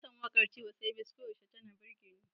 Ina son waƙar Tiwa Savage, koyaushe tana burge ni.